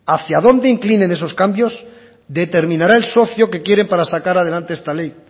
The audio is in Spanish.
hacia dónde inclinen esos cambios determinará el socio que quieren para sacar adelante esta ley